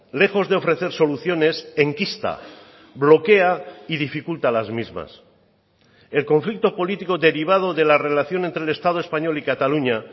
lejos de ofrecer soluciones enquista bloquea y dificulta las mismas el conflicto político derivado de la relación entre el estado español y cataluña